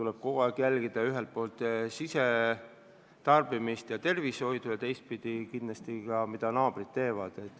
Sealhulgas tuleb jälgida sisetarbimist ja mõju rahva tervisele ning muidugi ka, mida naabrid teevad.